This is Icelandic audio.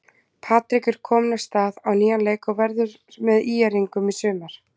Patrik er kominn af stað á nýjan leik og verður með ÍR-ingum í sumar.